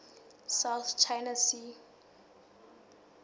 south china sea